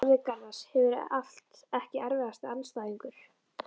Sverrir Garðars hefur allt Ekki erfiðasti andstæðingur?